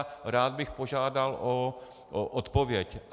A rád bych požádal o odpověď.